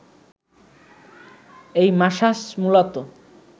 এই মাসাজ মূলত